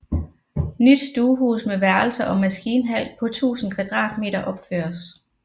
Nyt stuehus med værelser og maskinhal på 1000 m2 opføres